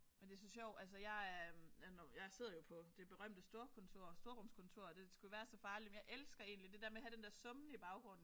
Men det så sjovt altså jeg er jeg nu jeg sidder jo på det berømte storkontor storrumskontor. Det skulle jo være så farligt men jeg elsker egentlig det der med at have den der summen i baggrunden